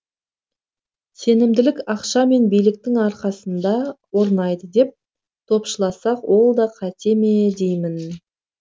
сенімділік ақша мен биліктің арқасында орнайды деп топшыласақ ол да қате ме деймін